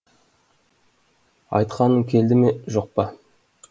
айтқаным келді ме жоқ па